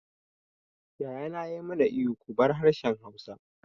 Yaya na ya ma na ihu 'Ku bar harshen Hausa'!